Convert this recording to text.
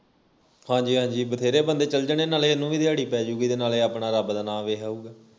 ਹਾਜੀ ਹਾਂਜੀ ਨਾਵੇ ਬਥੇਰੇ ਬੰਦੇ ਚਲ ਜਾਣੇ ਨਾਲੇ ਇਹਨੂੰ ਵੀ ਦਿਹਾੜੀ ਪੈ ਜੂਗੀ ਤੇ ਨਾਲੇ ਆਪਣਾ ਰੱਬ ਦਾ ਨਾਂ ਵੇਖ ਆਊਗਾ